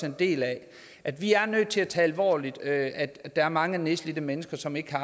en del af at vi er nødt til at tage alvorligt at er mange nedslidte mennesker som ikke har